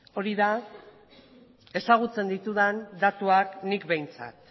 hori da ezagutzen ditudan datuak nik behintzat